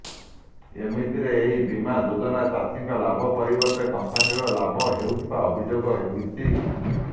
ଏମିତିରେ ଏହି ବୀମା ଯୋଜନା ଚାଷୀଙ୍କ ଲାଭ ପରିବର୍ତ୍ତେ କମ୍ପାନୀର ଲାଭ ହେଉଥିବା ଅଭିଯୋଗ ହୋଇଛି